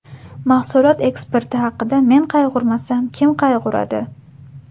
Mahsulot eksporti haqida men qayg‘urmasam, kim qayg‘uradi?